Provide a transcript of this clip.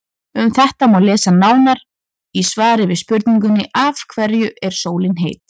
Um þetta má lesa nánar í svari við spurningunni Af hverju er sólin heit?.